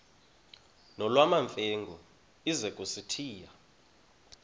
nolwamamfengu ize kusitiya